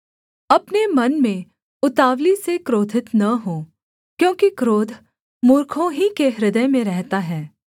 अपने मन में उतावली से क्रोधित न हो क्योंकि क्रोध मूर्खों ही के हृदय में रहता है